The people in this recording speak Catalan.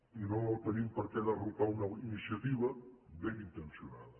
i no tenim per què derrotar una iniciativa ben intencionada